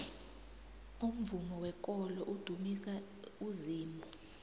umvumo wekolo udumisa uzimu